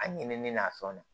A ɲinɛnen n'a fɛnw na